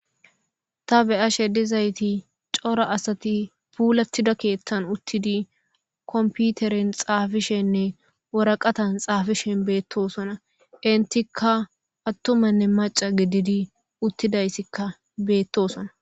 ta be'ashe dizayti cora asati puulattida keeththan uttidi komputeren xaafishenne woraqatan xaafishen beettosona intika attumanne maca gididi uttidayssikka beettosona